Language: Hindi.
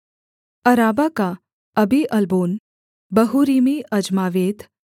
अराबा का अबीअल्बोन बहूरीमी अज्मावेत